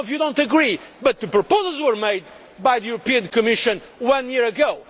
some of you do not agree but the proposals were made by the European Commission one year ago.